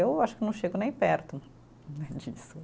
Eu acho que não chego nem perto disso.